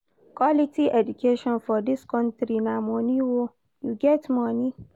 Quality education for dis country na moni o, you get moni?